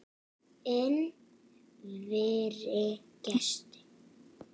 Inn vari gestur